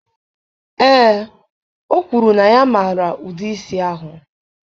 Ee, o kwuru na ya maara ụdị isi ahụ.